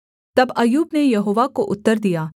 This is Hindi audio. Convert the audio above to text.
तब अय्यूब ने यहोवा को उत्तर दिया